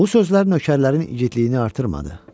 Bu sözlər nökərlərin igidliyini artırmadı.